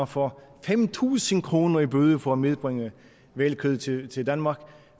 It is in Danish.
får fem tusind kroner i bøde for at medbringe hvalkød til til danmark